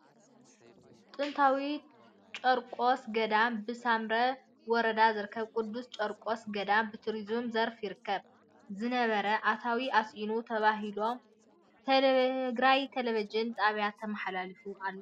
ጥንታዊ ጠርቆስ ገዳም ብሳምረ ወረዳ ዝርከብ ቅዱስ ጨርቆስ ገዳም ብቱሪዝም ዘርፍ ይርከብ ዝነበረ ኣታዊ ኣስኢኑ ተባሂሉ ኢሎም ኣን ትግራይ ቴሌቭን ጣብያ ተመሓላሊፉ ኣሎ።